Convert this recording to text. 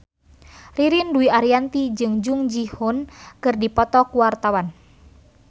Ririn Dwi Ariyanti jeung Jung Ji Hoon keur dipoto ku wartawan